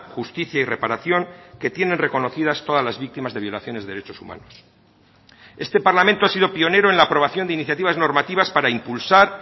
justicia y reparación que tienen reconocidas todas las víctimas de violaciones de derechos humanos este parlamento ha sido pionero en la aprobación de iniciativas normativas para impulsar